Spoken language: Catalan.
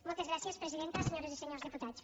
moltes gràcies presidenta senyores i senyors diputats